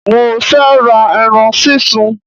Mo fẹ́ ra eran sísun